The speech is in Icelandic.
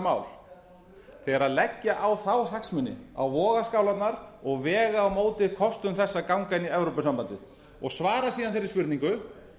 mál þegar leggja á þá hagsmuni á vogarskálarnar og vega á móti kostum þess að ganga inn í evrópusambandið og svara síðan þeirri spurningu